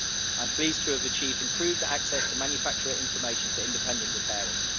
I am pleased to have achieved improved access to manufacturer information for independent repairers.